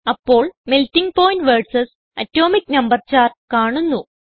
അപ്പോൾ melting point versus atomic number chart കാണുന്നു